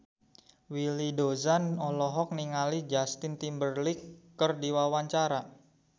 Willy Dozan olohok ningali Justin Timberlake keur diwawancara